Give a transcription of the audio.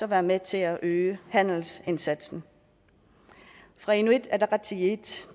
være med til at øge handelsindsatsen fra inuit ataqatigiits